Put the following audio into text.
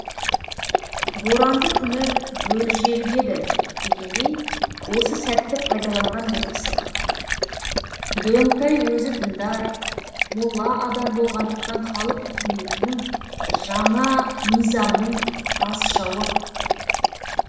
боранды күні бөрі желігеді дегендей осы сәтті пайдаланған бір пысық дөңтай өзі діндар молла адам болғандықтан халық үкіметінің жаңа мизамның қас жауы